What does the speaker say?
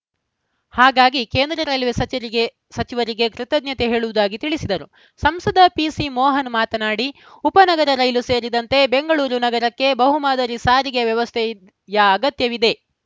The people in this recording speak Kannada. ಹಾಗಾಗಿ ಕೇಂದ್ರ ರೈಲ್ವೆ ಸಚಿರಗೆ ಸಚಿವರಿಗೆ ಕೃತ್ಯಜ್ಞತೆ ಹೇಳುವುದಾಗಿ ತಿಳಿಸಿದರು ಸಂಸದ ಪಿಸಿಮೋಹನ್‌ ಮಾತನಾಡಿ ಉಪನಗರ ರೈಲು ಸೇರಿದಂತೆ ಬೆಂಗಳೂರು ನಗರಕ್ಕೆ ಬಹು ಮಾದರಿ ಸಾರಿಗೆ ವ್ಯವಸ್ಥೆ ಯ ಅಗತ್ಯವಿದೆ